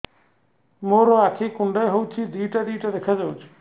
ମୋର ଆଖି କୁଣ୍ଡାଇ ହଉଛି ଦିଇଟା ଦିଇଟା ଦେଖା ଯାଉଛି